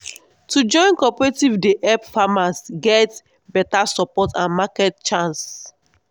to join cooperative dey help farmers get beta support and market chance.